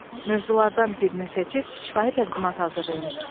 Mövzulardan birini seçib şifahi təqdimat hazırlayın.